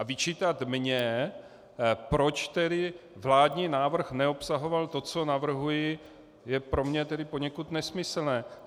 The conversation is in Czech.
A vyčítat mně, proč tedy vládní návrh neobsahoval to, co navrhuji, je pro mě tedy poněkud nesmyslné.